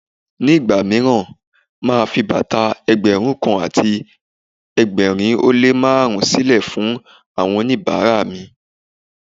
Ní ìgbà mìíràn, màá a fi bàtà Ẹgbẹ̀rún kan àti ẹgbẹ̀rin ó lé ní márùn-ún sílè fún oníbàárà mi.